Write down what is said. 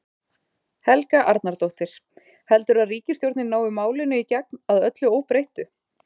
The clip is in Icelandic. Helga Arnardóttir: Heldurðu að ríkisstjórnin nái málinu í gegn, að öllu óbreyttu?